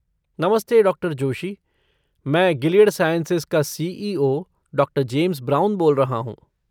नमस्ते डॉ. जोशी. मैं गिलियड साइंसेज का सी.ई.ओ. डॉ. जेम्स ब्राउन बोल रहा हूँ।